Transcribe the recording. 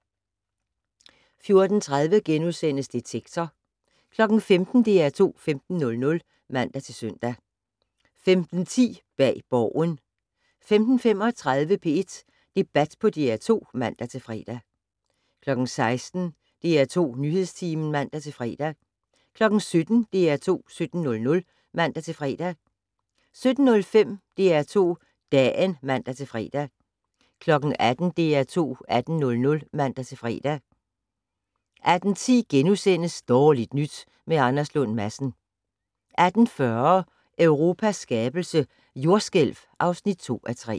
14:30: Detektor * 15:00: DR2 15:00 (man-søn) 15:10: Bag Borgen 15:35: P1 Debat på DR2 (man-fre) 16:00: DR2 Nyhedstimen (man-fre) 17:00: DR2 17:00 (man-fre) 17:05: DR2 Dagen (man-fre) 18:00: DR2 18:00 (man-fre) 18:10: Dårligt nyt med Anders Lund Madsen * 18:40: Europas skabelse - jordskælv (2:3)